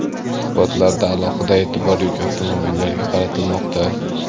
Suhbatlarda alohida e’tibor yuk avtomobillariga qaratilmoqda.